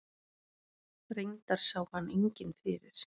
Reyndar sá hann enginn fyrir.